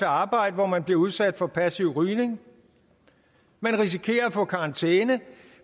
arbejde hvor man blive udsat for passiv rygning man risikerer at få karantæne